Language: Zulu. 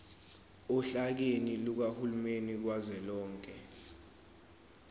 ohlakeni lukahulumeni kazwelonke